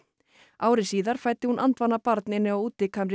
ári síðar fæddi hún andvana barn inni á